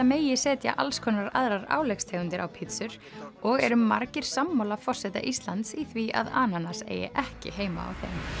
megi setja aðrar á pítsur og eru margir sammála forseta Íslands í því að ananas eigi ekki heima á